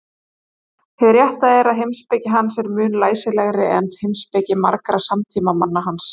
Hið rétta er að heimspeki hans er mun læsilegri en heimspeki margra samtímamanna hans.